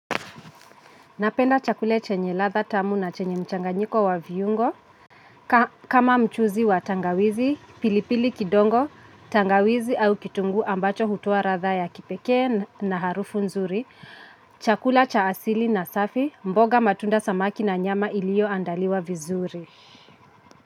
Napenda chakula chenye ladha tamu na chenye mchanganyiko wa viungo, kama mchuzi wa tangawizi, pilipili kidogo, tangawizi au kitungu ambacho hutoa ladha ya kipekee na harufu nzuri, chakula cha asili na safi, mboga matunda samaki na nyama ilioandaliwa vizuri.